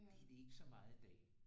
Det er det ikke så meget i dag